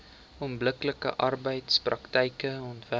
onbillike arbeidspraktyke onderwerp